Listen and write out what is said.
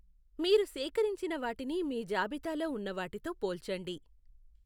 మీరు సేకరించిన వాటిని మీ జాబితాలో ఉన్న వాటితో పోల్చండి.